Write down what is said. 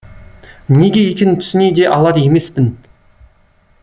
неге екенін түсіне де алар емеспін